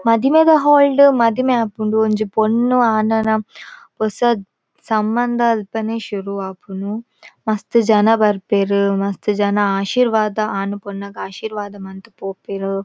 ಮದಿಮೆದ ಹಾಲ್ ಡ್ ಮದಿಮೆ ಆಪುಂಡು ಒಂಜಿ ಪೊಣ್ಣು ಆಣನ ಪೊಸ ಸಂಬಂಧ ಅಲ್ಪನೆ ಶುರು ಆಪುನು ಮಸ್ತ್ ಜನ ಬರ್ಪೆರ್ ಮಸ್ತ್ ಜನ ಆಶೀರ್ವಾದ ಆಣ್ ಪೊಣ್ಣಗ್ ಆಶೀರ್ವಾದ ಮಂತ್ ಪೋಪೆರ್.